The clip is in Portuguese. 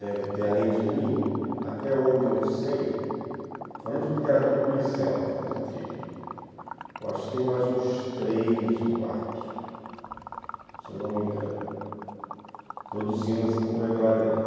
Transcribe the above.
Deve ter, além de mim, até onde eu sei, falando de literatura policial, falando de thriller, eu acho que tem mais uns três ou quatro, se eu não me engano, produzindo assim com regularidade.